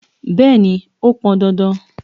Bẹ́ẹ̀ni, ó pọn dandan.